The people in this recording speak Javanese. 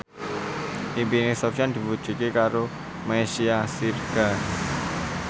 impine Sofyan diwujudke karo Meisya Siregar